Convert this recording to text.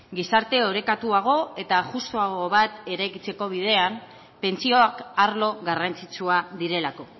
gizarte orekatuago eta justuago bat eraikitzeko bidean pentsioak arlo garrantzitsua direlako